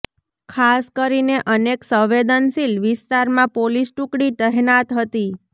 ખાસ કરીને અનેક સંવેદનશીલ વિસ્તારમાં પોલીસ ટુકડી તહેનાત હતી